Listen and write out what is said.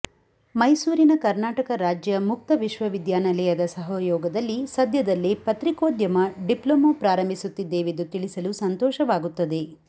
ಮೈಸೂರಿನ ಕರ್ನಾಟಕ ರಾಜ್ಯ ಮುಕ್ತ ವಿಶ್ವವಿದ್ಯಾನಿಲಯದ ಸಹಯೋಗದಲ್ಲಿ ಸದ್ಯದಲ್ಲೇ ಪತ್ರಿಕೋದ್ಯಮ ಡಿಪ್ಲೊಮಾ ಪ್ರಾರಂಭಿಸುತ್ತಿದ್ದೇವೆಂದು ತಿಳಿಸಲು ಸಂತೋಷವಾಗುತ್ತದೆ